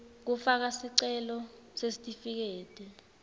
kufaka sicelo sesitifiketi